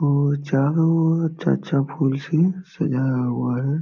ओ चारों ओर अच्छा-अच्छा फूल से सजाया हुआ है।